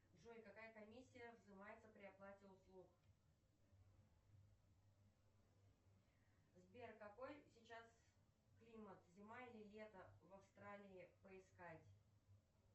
джой какая комиссия взимается при оплате услуг сбер какой сейчас климат зима или лето в австралии поискать